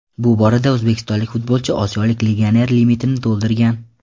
Bu borada o‘zbekistonlik futbolchi osiyolik legioner limitini to‘ldirgan.